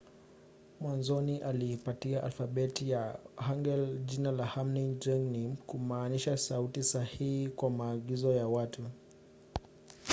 mwanzoni aliipatia alfabeti ya hangeul jina la hunmin jeongeum kumaanisha sauti sahihi za maagizo kwa watu